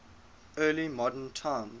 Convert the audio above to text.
early modern times